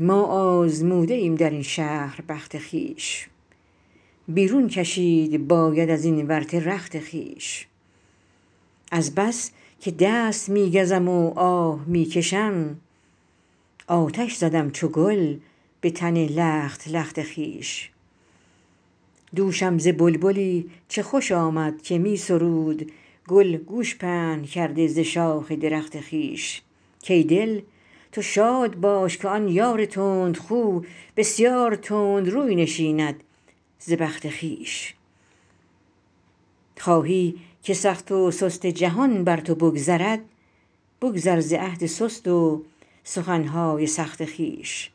ما آزموده ایم در این شهر بخت خویش بیرون کشید باید از این ورطه رخت خویش از بس که دست می گزم و آه می کشم آتش زدم چو گل به تن لخت لخت خویش دوشم ز بلبلی چه خوش آمد که می سرود گل گوش پهن کرده ز شاخ درخت خویش کای دل تو شاد باش که آن یار تندخو بسیار تند روی نشیند ز بخت خویش خواهی که سخت و سست جهان بر تو بگذرد بگذر ز عهد سست و سخن های سخت خویش